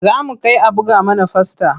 Za mu kai a buga mana fasta.